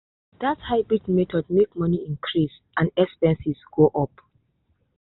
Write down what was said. that hybrid method make money increase and expenses go up.